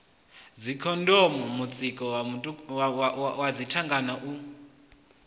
dzikhondomu mutsiko wa dzithanga u